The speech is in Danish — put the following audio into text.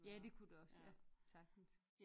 Ja det kunne det også ja sagtens